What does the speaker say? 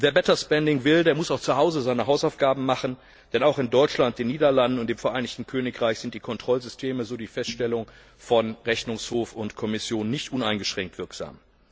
Und wer better spending will, der muss auch zu Hause seine Hausaufgaben machen, denn auch in Deutschland, den Niederlanden und dem Vereinigten Königreich sind die Kontrollsysteme so die Feststellung von Rechnungshof und Kommission nicht uneingeschränkt wirksam.